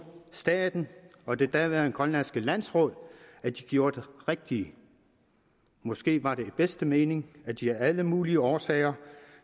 staten og det daværende grønlandske landsråd at de gjorde det rigtige måske var det i den bedste mening at de af alle mulige årsager